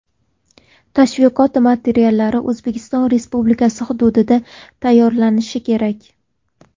Tashviqot materiallari O‘zbekiston Respublikasi hududida tayyorlanishi kerak.